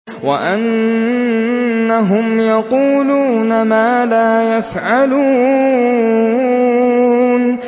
وَأَنَّهُمْ يَقُولُونَ مَا لَا يَفْعَلُونَ